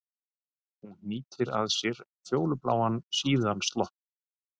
Hún hnýtir að sér fjólubláan, síðan slopp.